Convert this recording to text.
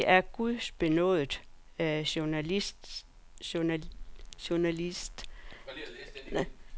Han var en gudbenådet journalist, der skrev om verdenslitteratur og skønne måltider med samme begejstring og indsigt.